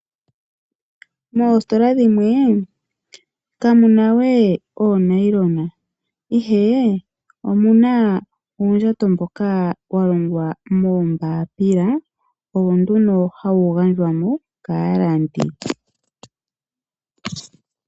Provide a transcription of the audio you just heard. Moositola shimwe kamuna we oonayilona ihe omuna uundjato mboka wa longwa moombapila owo nduno hawu gandjwa mo kaalandi.